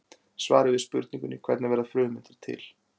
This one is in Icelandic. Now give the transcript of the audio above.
Svarið við spurningunni Hvernig verða frumeindir til?